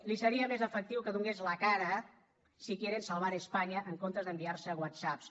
li seria més efectiu que donés la cara si quieren salvar españa en comptes d’enviar se whatsapps